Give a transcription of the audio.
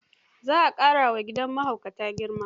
Za a qmƙarawa gidan mahaukata girma.